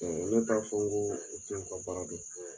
ne t'a fɔ n ko ka baara